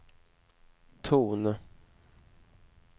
ton